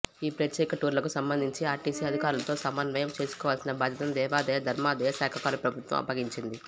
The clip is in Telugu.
ఈ ప్రత్యేక టూర్లకు సంబంధించి ఆర్టీసి అధికారులతో సమన్వయం చేసుకోవలసిన బాధ్యతను దేవాదాయ ధర్మాదాయ శాఖకు ప్రభుత్వం అప్పగించింది